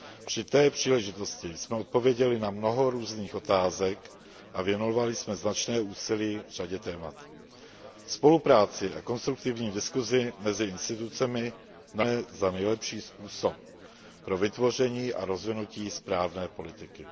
Při té příležitosti jsme odpověděli na mnoho různých otázek a věnovali jsme značné úsilí řadě témat. Spolupráci a konstruktivní diskusi mezi institucemi nadále považujeme za nejlepší způsob pro vytvoření a rozvinutí správné politiky.